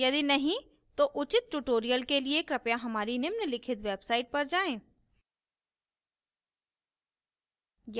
यदि नहीं तो उचित tutorials के लिए कृपया हमारी निम्नलिखित website पर जाएँ